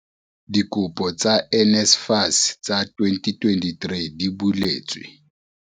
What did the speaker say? Dikopo tsa NSFAS tsa 2023 di buletswe